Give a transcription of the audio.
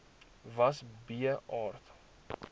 was b aard